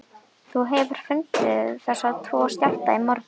Þú hefur fundið þessa tvo skjálfta í morgun?